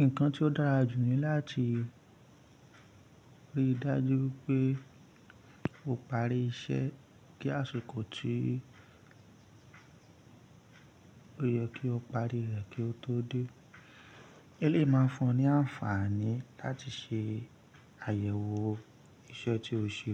Nǹkan tí ó dára jù ní láti rí i dájú pé o parí iṣẹ́ kí àsìkò tí ó yẹ kí o parí rẹ̀ kí o tó dé. Eléyìí máa fún ọ ní àǹfààní láti ṣe àyẹ̀wò iṣẹ́ tí o ṣe